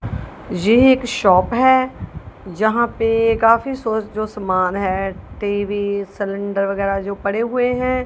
ये एक शॉप है जहां पे काफी सोच जो समान है टी_वी सिलेंडर वगैरह जो पड़े हुए हैं।